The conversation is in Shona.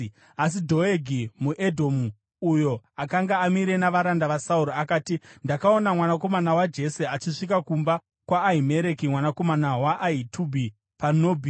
Asi Dhoegi muEdhomu, uyo akanga amire navaranda vaSauro, akati, “Ndakaona mwanakomana waJese achisvika kumba kwaAhimereki mwanakomana waAhitubhi paNobhi.